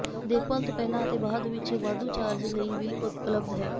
ਦੇਖਭਾਲ ਤੋਂ ਪਹਿਲਾਂ ਅਤੇ ਬਾਅਦ ਵਿੱਚ ਵਾਧੂ ਚਾਰਜ ਲਈ ਵੀ ਉਪਲਬਧ ਹੈ